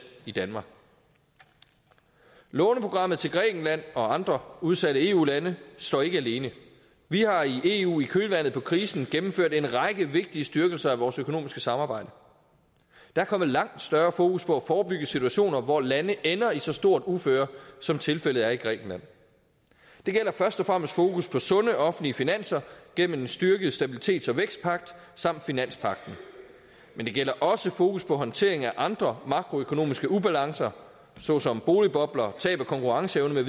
i danmark låneprogrammet til grækenland og andre udsatte eu lande står ikke alene vi har i eu i kølvandet på krisen gennemført en række vigtige styrkelser af vores økonomiske samarbejde der er kommet langt større fokus på at forebygge situationer hvor lande ender i så stort uføre som tilfældet er i grækenland det gælder først og fremmest fokus på sunde offentlige finanser gennem den styrkede stabilitets og vækstpagt samt finanspagten men det gælder også fokus på håndtering af andre makroøkonomiske ubalancer såsom boligbobler tab af konkurrenceevne